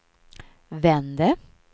vände